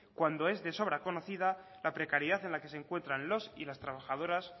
cuando es de sobra conocida la precariedad en la que se encuentran los y las trabajadoras